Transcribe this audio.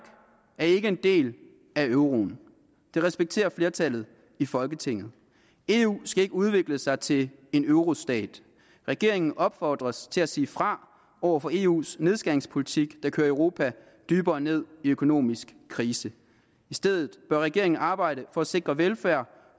er ikke en del af euroen det respekterer flertallet i folketinget eu skal ikke udvikle sig til en eurostat regeringen opfordres til at sige fra over for eus nedskæringspolitik der kører europa dybere ned i økonomisk krise i stedet bør regeringen arbejde for at sikre velfærd